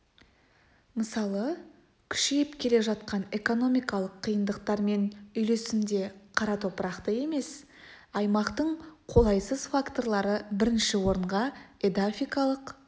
мысалы күшейіп келе жатқан экономикалық қиындықтармен үйлесімде қара топырақты емес аймақтың қолайсыз факторлары бірінші орынға эдафикалық